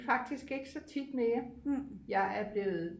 faktisk ikke så tit mere jeg er blevet